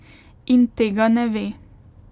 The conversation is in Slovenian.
In tega ne ve.